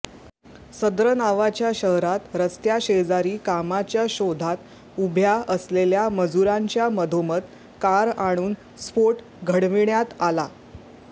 सद्र नावाच्या शहरात रस्त्याशेजारी कामाच्या शोधात उभ्या असलेल्या मजुरांच्या मधोमध कार आणून स्फोट घडविण्यात आला